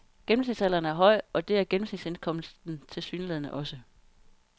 Gennemsnitsalderen er høj, og det er gennemsnitsindkomsten tilsyneladende også.